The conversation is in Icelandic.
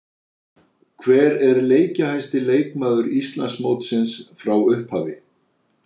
Hver er leikjahæsti leikmaður Íslandsmótsins frá upphafi?